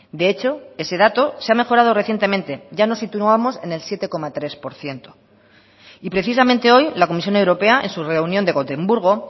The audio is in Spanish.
de hecho ese dato se ha mejorado recientemente ya nos situamos en el siete coma tres por ciento y precisamente hoy la comisión europea en su reunión de gotemburgo